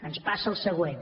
ens passa el següent